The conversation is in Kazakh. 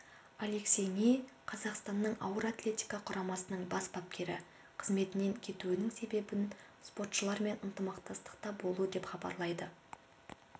алексей ни қазақстанның ауыр атлетика құрамасының бас бапкері қызметінен кетуінің себебін спортшылармен ынтымақтастықта болу деп хабарлайды